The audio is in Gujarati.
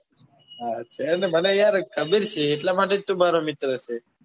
અરે મને યાર ખબર છે એટલા માટે જ તું મારો મિત્ર છે.